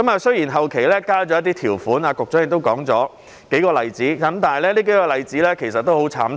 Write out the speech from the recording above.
雖然後期加入了一些條款，局長亦舉出了數個例子，但這些例子其實也很慘痛。